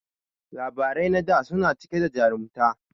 Labarai na da suna cike da jarumta